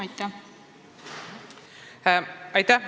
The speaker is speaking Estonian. Aitäh!